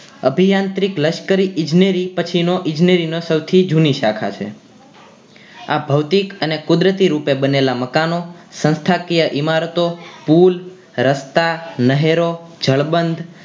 અભીયાન્તી લશ્કરી ઇજનેરી પછી નો ઈજનેરી નો સૌથી જૂની શાખા છે આ ભૌતિક અને કુદરતી રૂપે બનેલા મકાનો સંસ્થાકીય ઈમારતો પુલ રસ્તા નહેરો જળ બંધ